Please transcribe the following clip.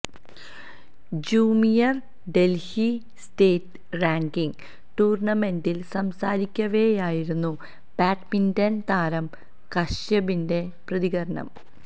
junior Delhi state ranking ടൂര്ണ്ണമെന്റില് സംസാരിക്കവെയായിരുന്നു badminton താരമായ കശ്യപിന്റെ പ്രതികരണം